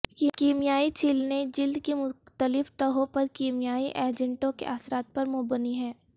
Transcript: کیمیائی چھیلنے جلد کی مختلف تہوں پر کیمیائی ایجنٹوں کے اثرات پر مبنی ہے